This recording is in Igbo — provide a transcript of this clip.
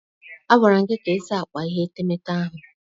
A gwara gị ka ịsa akpa ihe etemeete ahụ.